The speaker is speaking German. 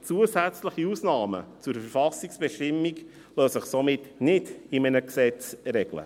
Zusätzliche Ausnahmen zur Verfassungsbestimmung lassen sich somit in einem Gesetz regeln.